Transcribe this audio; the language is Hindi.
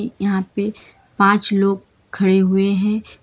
यहां पे पांच लोग खड़े हुए हैं।